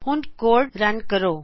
ਹੁਣ code run ਕਰੋਂ